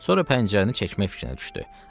Sonra pəncərəni çəkmək fikrinə düşdü.